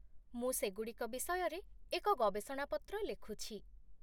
ମୁଁ ସେଗୁଡ଼ିକ ବିଷୟରେ ଏକ ଗବେଷଣା ପତ୍ର ଲେଖୁଛି।